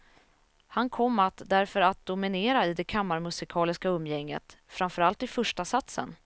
Han kom att därför att dominera i det kammarmusikaliska umgänget, framför allt i förstasatsen.